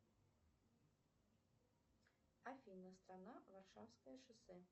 афина страна варшавское шоссе